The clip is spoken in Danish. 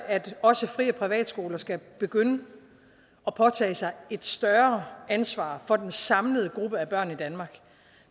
at også fri og privatskoler skal begynde at påtage sig et større ansvar for den samlede gruppe af børn i danmark